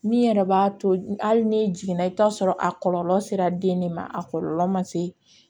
Min yɛrɛ b'a to hali ni jiginna i bɛ t'a sɔrɔ a kɔlɔlɔ sera den ne ma a kɔlɔlɔ man se